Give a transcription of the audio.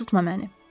Tutma məni.